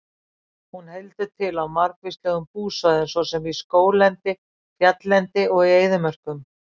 Hún heldur til á margvíslegum búsvæðum svo sem í skóglendi, fjalllendi og í eyðimörkum.